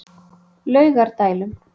Laugardælum